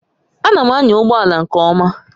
Ana m anya ụgbọ ala nke ọma